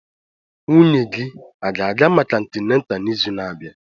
Nwunye gị a ga-aga maka antịnátà n'izu na-abịa?